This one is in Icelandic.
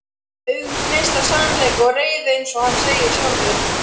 Augun gneista af sannleika og reiði einsog hann segir sjálfur.